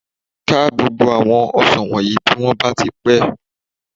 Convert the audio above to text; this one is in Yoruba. Ká gbogbo àwọn ọsàn wọ̀nyìí bí wọ́n bá ti pé